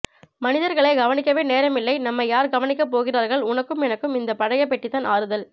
மனிதர்களை கவனிக்கவே நேரமில்லை நம்மை யார் கவனிக்க போகிறார்கள் உனக்கும் எனக்கும் இந்த பழைய பெட்டிதான் ஆறுதல்